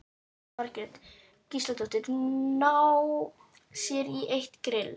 Jóhanna Margrét Gísladóttir: Ná sér í eitt grill?